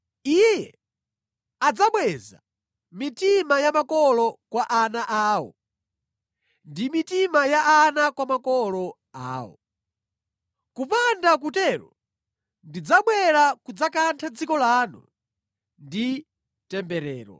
Iye adzabweza mitima ya makolo kwa ana awo, ndi mitima ya ana kwa makolo awo. Kupanda kutero ndidzabwera kudzakantha dziko lanu ndi temberero.”